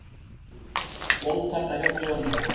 Blóðtaka hjá Dönum